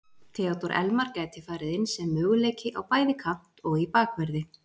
Theodór Elmar gæti farið inn sem möguleiki á bæði kant og í bakverði.